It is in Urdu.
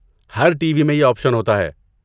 ہر ٹی وی میں یہ آپشن ہوتا ہے۔